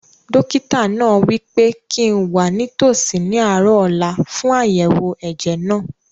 Dókítà náà wí pé kíi n wà nítòsí ní àárọ̀ ọ̀la fún àyẹ̀wò ẹ̀jẹ̀ náà